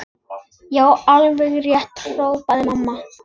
Já, alveg rétt hrópaði mamma.